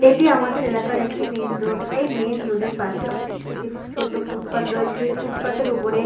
এটি আমাদের এলাকার একটি মাইন্ রোড । এই মাইন্ রোড এর পশে একটি ছোট ফুটপাত রয়েছে। যেই ফুটপাত এর ওপরে--